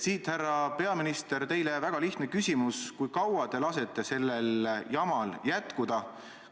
Siit, härra peaminister, teile väga lihtne küsimus: kui kaua te lasete sellel jamal jätkuda?